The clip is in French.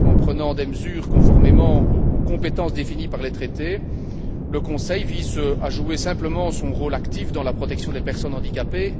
En prenant des mesures conformément aux compétences définies par les traités, le Conseil vise simplement à jouer son rôle actif dans la protection des personnes handicapées.